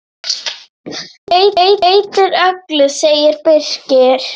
Það breytir öllu, segir Birkir.